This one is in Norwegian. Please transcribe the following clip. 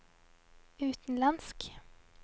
utenlandsk